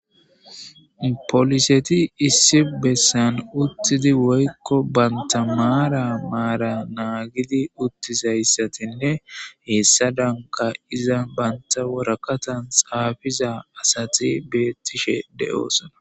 poliseti issi bessan uttidi woykko banta maara maara naagidi uttizayssatinne heessa danka iza banta worakatan xaafiza asati beettishe de7oosona.